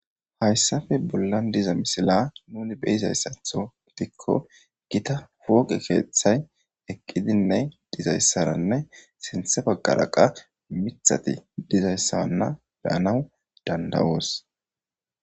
hayssafe bollan diza misila nuni beyizayssatho dikko gita fooqe keeththay eqqidinne dizayssaranne sinthe baggara qa mithati dizayssaanna beyanaw dandawoos